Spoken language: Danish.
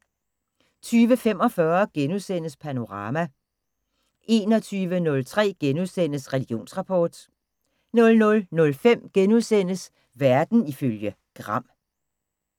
20:45: Panorama * 21:03: Religionsrapport * 00:05: Verden ifølge Gram *